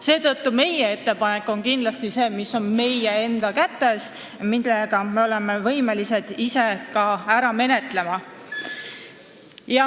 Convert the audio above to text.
Meie teeme sellise ettepaneku, mis on meie enda kätes ja mida me oleme võimelised ka ise ära menetlema.